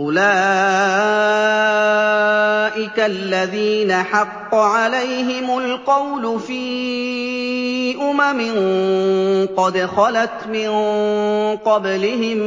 أُولَٰئِكَ الَّذِينَ حَقَّ عَلَيْهِمُ الْقَوْلُ فِي أُمَمٍ قَدْ خَلَتْ مِن قَبْلِهِم